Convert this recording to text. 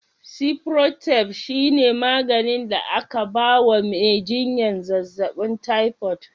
Cifrotab shine maganin da aka ba wa mai jinyar zazzabin tyfod.